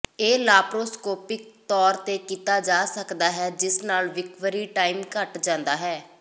ਇਹ ਲਾਪਰੋਸਕੋਪੀਕ ਤੌਰ ਤੇ ਕੀਤਾ ਜਾ ਸਕਦਾ ਹੈ ਜਿਸ ਨਾਲ ਰਿਕਵਰੀ ਟਾਈਮ ਘੱਟ ਜਾਂਦਾ ਹੈ